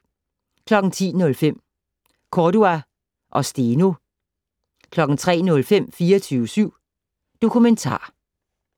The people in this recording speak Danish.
10:05: Cordua og Steno 03:05: 24syv Dokumentar